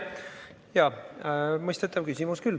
Jaa, mõistetav küsimus.